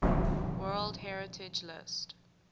world heritage list